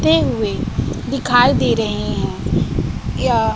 ते हुए दिखाई दे रहे हैं।